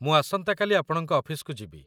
ମୁଁ ଆସନ୍ତାକାଲି ଆପଣଙ୍କ ଅଫିସକୁ ଯିବି।